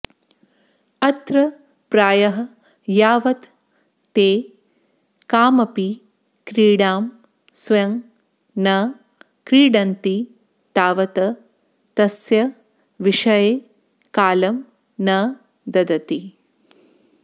अत्र प्रायः यावत् ते कामपि क्रीडां स्वयं न क्रीडन्ति तावत् तस्य विषये कालं न ददति